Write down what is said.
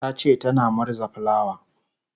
tace tana murza fulawa